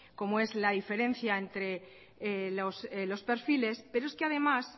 como es la diferencia entre los perfiles pero es que además